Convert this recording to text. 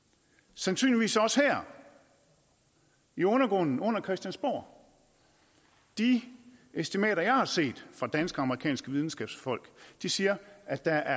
sandsynligvis også her i undergrunden under christiansborg de estimater jeg har set fra danske og amerikanske videnskabsfolk siger at der